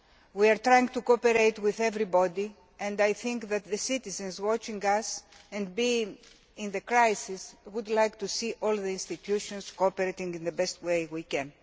We are trying to cooperate with everybody, and I think that citizens watching us in the context of the crisis would like to see all the EU institutions cooperating in the best way we can.